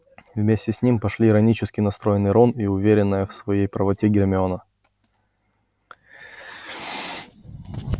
вместе с ним пошли иронически настроенный рон и уверенная в своей правоте гермиона